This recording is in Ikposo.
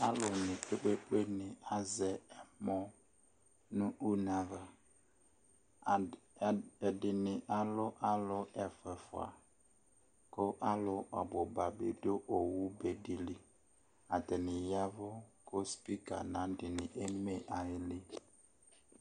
Alʋnɩ kpe-kpe-kpenɩ azɛ ɛmɔ nʋ une ava ad ad ɛdɩnɩ alʋ alʋ ɛfʋa ɛfʋa kʋ alʋ ɔbʋ ba bɩ dʋ owu be dɩ li. Atanɩ ya ɛvʋ kʋ spika nʋ ayʋ adɩnɩ eme ayili.